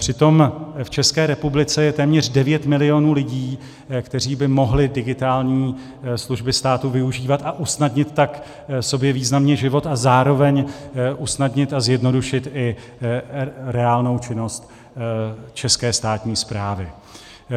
Přitom v České republice je téměř 9 milionů lidí, kteří by mohli digitální služby státu využívat, a usnadnit tak sobě významně život a zároveň usnadnit a zjednodušit i reálnou činnost české státní správy.